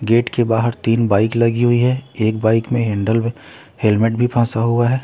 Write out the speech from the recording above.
Gate के बाहर तीन बाइक लगी हुई है एक बाइक में हैंडल में हेलमेट भी फांसा हुआ है।